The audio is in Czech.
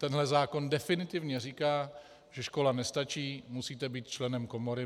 Tenhle zákon definitivně říká, že škola nestačí, musíte být členem komory.